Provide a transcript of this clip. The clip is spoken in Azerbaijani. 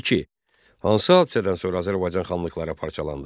İki: Hansı hadisədən sonra Azərbaycan xanlıqları parçalandı?